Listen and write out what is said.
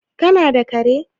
kana da kare?